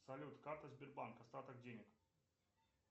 салют карта сбербанка остаток денег